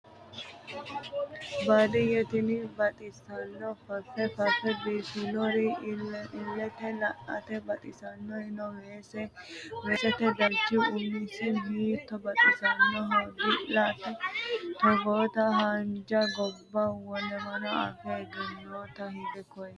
Baadiyye tini baxisano fafe fafe biifinori ilete la"ate baxisanori no weesete darchi umisi hiitto baxisanohoro dila"a togootta haanja gobba wolewa afe egenotto hige koo'ya